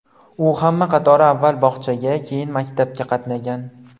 U hamma qatori avval bog‘chaga, keyin maktabga qatnagan.